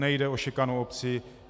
Nejde o šikanu obcí.